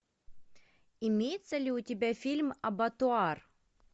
имеется ли у тебя фильм абатуар